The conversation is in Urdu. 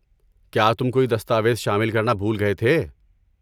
کیا تم کوئی دستاویز شامل کرنا بھول گئے تھے؟